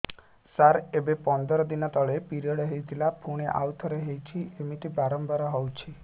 ସାର ଏବେ ପନ୍ଦର ଦିନ ତଳେ ପିରିଅଡ଼ ହୋଇଥିଲା ପୁଣି ଆଉଥରେ ହୋଇଛି ଏମିତି ବାରମ୍ବାର ହଉଛି